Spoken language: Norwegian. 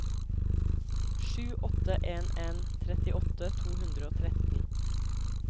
sju åtte en en trettiåtte to hundre og tretten